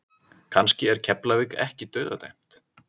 Kannski er Keflavík ekki dauðadæmt?